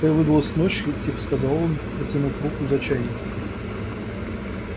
какая выдалась ночь и тихо сказал он протянув руку за чайником